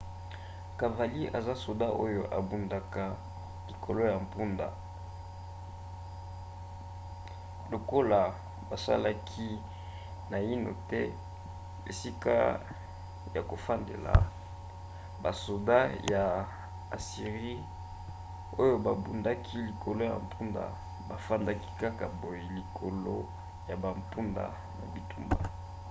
cavalier eza soda oyo abundaka likolo ya mpunda. lokola basalaki naino te esika ya kofandela basoda ya assirie oyo babundaki likolo ya mpunda bafandaki kaka boye likolo ya bampunda na bitumba